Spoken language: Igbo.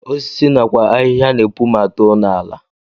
Osisi nakwa ahịhịa na-epu ma too n'ala